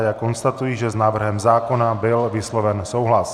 A já konstatuji, že s návrhem zákona byl vysloven souhlas.